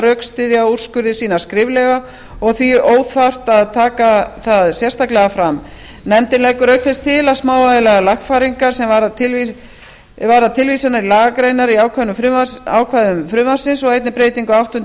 rökstyðja úrskurði sína skriflega og því óþarft að taka það sérstaklega fram nefndin leggur auk þess til smávægilegar lagfæringar sem varða tilvísanir í lagagreinar í ákvæðum frumvarpsins og einnig breytingu á áttundu